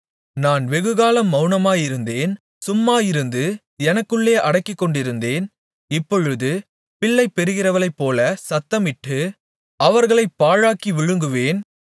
நான் வெகுகாலம் மவுனமாயிருந்தேன் சும்மாயிருந்து எனக்குள்ளே அடக்கிக்கொண்டிருந்தேன் இப்பொழுது பிள்ளை பெறுகிறவளைப்போலச் சத்தமிட்டு அவர்களைப் பாழாக்கி விழுங்குவேன்